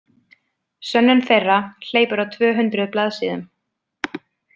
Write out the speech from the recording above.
Sönnun þeirra hleypur á tvö hundruð blaðsíðum.